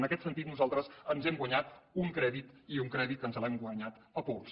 en aquest sentit nosaltres ens hem guanyat un crèdit i un crèdit que ens l’hem guanyat a pols